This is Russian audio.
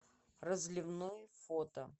разливной фото